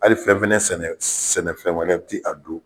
Hali fɛn fɛnɛ sɛnɛ sɛnɛ fɛn wɛrɛ ti a don